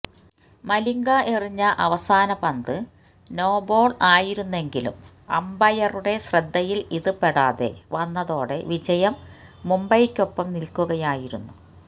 മലിംഗ എറിഞ്ഞ അവസാന പന്ത് നോബോള് ആയിരുന്നെങ്കിലും അംപയറുടെ ശ്രദ്ധയില് ഇത് പെടാതെ വന്നതോടെ വിജയം മുംബൈക്കൊപ്പം നില്ക്കുകയായിരുന്നു